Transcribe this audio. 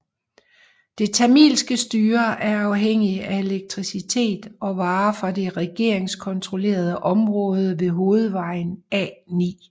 Det tamilske styre er afhængigt af elektricitet og varer fra det regeringskontrollerede område ved hovedvejen A9